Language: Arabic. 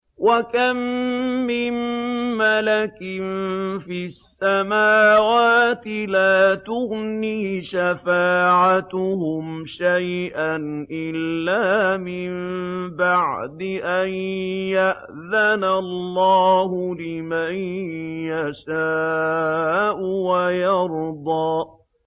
۞ وَكَم مِّن مَّلَكٍ فِي السَّمَاوَاتِ لَا تُغْنِي شَفَاعَتُهُمْ شَيْئًا إِلَّا مِن بَعْدِ أَن يَأْذَنَ اللَّهُ لِمَن يَشَاءُ وَيَرْضَىٰ